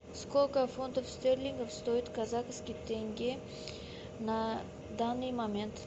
сколько фунтов стерлингов стоит казахский тенге на данный момент